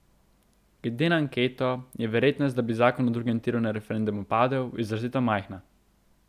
Glede na anketo je verjetnost, da bi zakon o drugem tiru na referendumu padel, izrazito majhna.